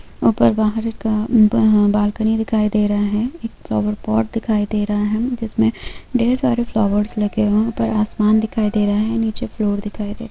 ऊपर बाहर का बालकनी दिखाई दे रहा है एक फ़्लोएर पॉट दिखाई दे रहा है जिसमें ढेर सारे फ़्लोएर लगे हुए हैं ऊपर आसमान दिखाई दे रहा है नीचे फ्लोर दिखाई दे रहा है।